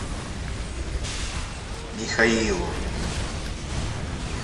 михаилу